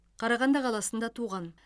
қарағанды қаласында туған